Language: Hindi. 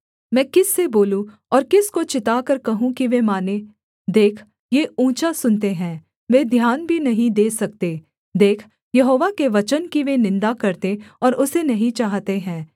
मैं किस से बोलूँ और किसको चिताकर कहूँ कि वे मानें देख ये ऊँचा सुनते हैं वे ध्यान भी नहीं दे सकते देख यहोवा के वचन की वे निन्दा करते और उसे नहीं चाहते हैं